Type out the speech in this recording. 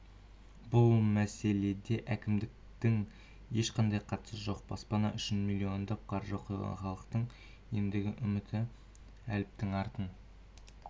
бұл мәселеде әкімдіктің ешқандай қатысы жоқ баспана үшін миллиондап қаржы құйған халықтың ендігі үміті әліптің артын